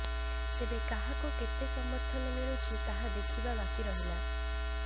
ତେବେ କାହାକୁ କେତେ ସମର୍ଥନ ମିଳୁଛି ତାହା ଦେଖିବା ବାକିରହିଲା